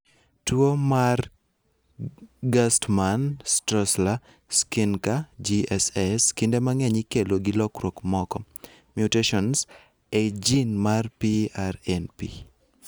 Tuwo mar Gerstmann Straussler Scheinker (GSS) kinde mang'eny ikelo gi lokruok moko (mutations) e gene mar PRNP.